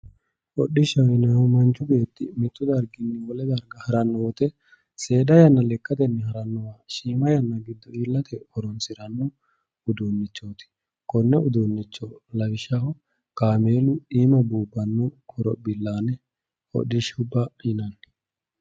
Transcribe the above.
Hodhishshaho yineemmohu manchi beetti mittu darginni wolewa haranno woyte seeda yanna lekkatenni harannowa shiima yanna giddo iillate horoonsiranno uduunnichooti konne uduunnicho lawishshaho kaameelu iima buubbanno horophillaane hodhishshubba yinanni